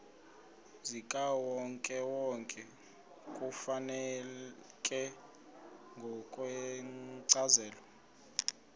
zikawonkewonke kufuneka ngokwencazelo